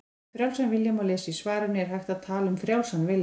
Um frjálsan vilja má lesa í svarinu Er hægt að tala um frjálsan vilja?